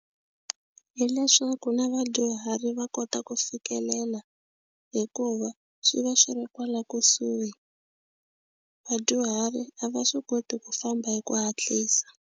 Hileswaku na vadyuhari va kota ku fikelela hikuva swi va swi ri kwala kusuhi. Vadyuhari a va swi koti ku famba hi ku hatlisa.